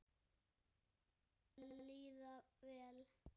Að líða vel.